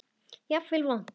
Jafnvel vont.